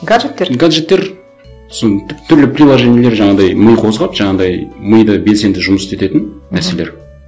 гаджеттер гаджеттер сосын түрлі приложениелер жаңағындай ми қозғап жаңағындай миды белсенді жұмыс істететін нәрселер